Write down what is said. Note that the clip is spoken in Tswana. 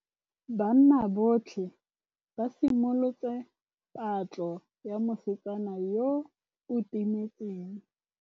Banna botlhê ba simolotse patlô ya mosetsana yo o timetseng.